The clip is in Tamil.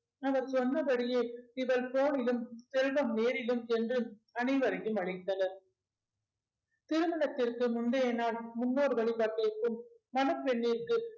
அவர் சொன்னபடியே இவர் போனிலும் செல்வம் நேரிலும் சென்று அனைவரையும் அழைத்தனர் திருமணத்திற்கு முந்தைய நாள் முன்னோர் வழிபாட்டிற்கும் மணப்பெண்ணிற்கு